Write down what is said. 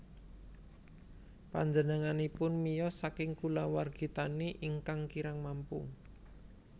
Panjenenganipun miyos saking kulawargi tani ingkang kirang mampu